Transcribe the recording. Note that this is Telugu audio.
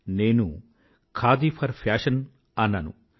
నేను ఖాదీ ఫర్ ఫ్యాషన్ అన్నాను